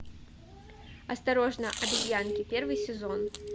осторожно обезьянки первый сезон